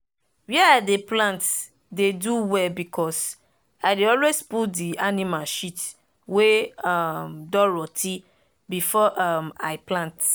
where i dey plant dey do well because i dey always put the animal shit wey um don rot ten before um i plant.